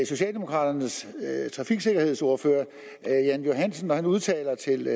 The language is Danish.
socialdemokraternes trafiksikkerhedsordfører herre jan johansen når han udtaler til